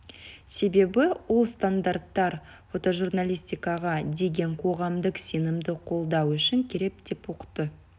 себебі ол стандарттар фотожурналистикаға деген қоғамдық сенімді қолдау үшін керек деп ұқты